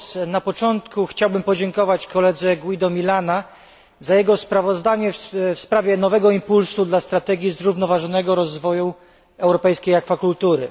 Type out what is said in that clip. Na początku chciałbym podziękować koledze Guido Milana za sprawozdanie w sprawie nowego impulsu dla strategii zrównoważonego rozwoju europejskiej akwakultury.